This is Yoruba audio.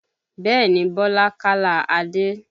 Bẹ́ẹ̀ni Bọlá kálá Adé